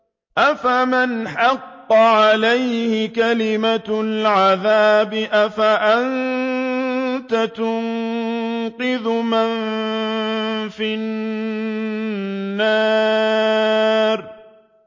أَفَمَنْ حَقَّ عَلَيْهِ كَلِمَةُ الْعَذَابِ أَفَأَنتَ تُنقِذُ مَن فِي النَّارِ